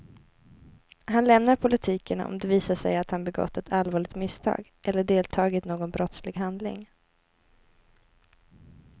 Han lämnar politiken om det visar sig att han begått ett allvarligt misstag eller deltagit i någon brottslig handling.